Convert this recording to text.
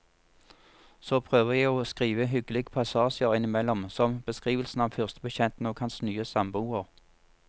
Så prøver jeg å skrive hyggelige passasjer innimellom, som beskrivelsen av førstebetjenten og hans nye samboer.